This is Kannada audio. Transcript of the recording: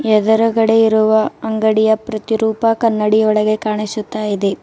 ಎದರಗದೆ ಇರುವ ಅಂಗಡಿಯ ಪ್ರತಿರೂಪ ಕನ್ನಡಿ ಒಳಗೆ ಕಾಣಿಸುತ್ತಾಇದೆ.